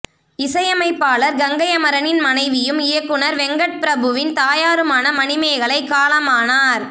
இசையமைப்பாளர் கங்கை அமரனின் மனைவியும் இயக்குனர் வெங்கட் பிரபுவின் தாயாருமான மணிமேகலை காலமானார்